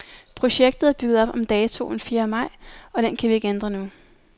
Projektet er bygget op om datoen fjerde maj, og den kan vi ikke ændre nu.